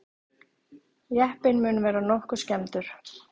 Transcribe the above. Jeppinn mun vera nokkuð skemmdur